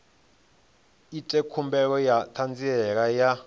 ite khumbelo ya ṱhanziela ya